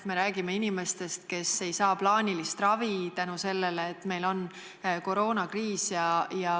Me räägime inimestest, kes ei saa plaanilist ravi sellepärast, et meil on koroonakriis.